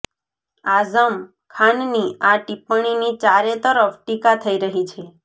આજમ ખાનની આ ટિપ્પણીની ચારેતરફ ટીકા થઈ રહી છે